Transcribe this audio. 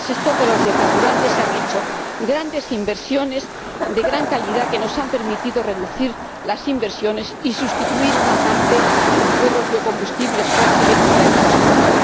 En el sector de los biocarburantes se han hecho grandes inversiones de gran calidad que nos han permitido reducir las emisiones y sustituir una parte de los biocombustibles fósiles para el transporte.